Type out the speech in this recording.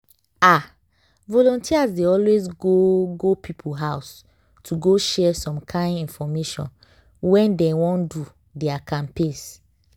ah! volunteers dey always go go people house to go share some kind infomation when dey wan do their campaigns.